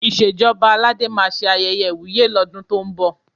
Ìṣèjọba Aládé máa ṣe ayẹyẹ ìwúyè lọ́dún tó ń bọ̀.